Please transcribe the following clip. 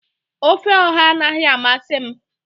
ofe oha anaghị amasị m